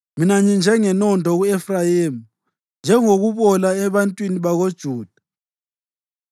Mina nginjengenondo ku-Efrayimi, njengokubola ebantwini bakoJuda.